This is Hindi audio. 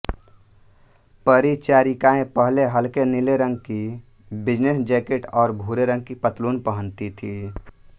परिचारिकाएं पहले हलके नीले रंग की बिजनेस जैकेट और भूरे रंग की पतलून पहनती थीं